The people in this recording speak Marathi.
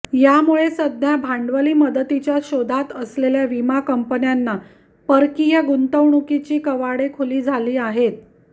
यामुळे सध्या भांडवली मदतीच्या शोधात असलेल्या विमा कंपन्यांना परकीय गुंतवणुकीची कवाडे खुली झाली आहेत